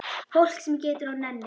Fólk sem getur og nennir.